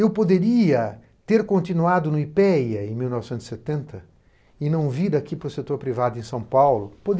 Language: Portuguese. Eu poderia ter continuado no ipêêá em mil novecentos e setenta e não vir aqui para o setor privado em São Paulo?